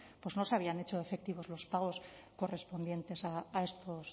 pues no se habían hecho efectivos los pagos correspondientes a estos